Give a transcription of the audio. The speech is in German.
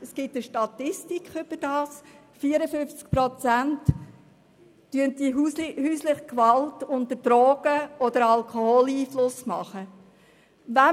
Hinzu kommt, dass 54 Prozent der Fälle von häuslicher Gewalt unter Drogen- oder Alkoholeinfluss ausgeübt werden.